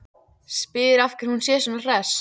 Spyr af hverju hún sé svona hress.